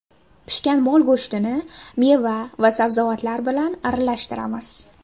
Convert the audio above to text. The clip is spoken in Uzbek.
Pishgan mol go‘shtini meva va sabzavotlar bilan aralashtiramiz.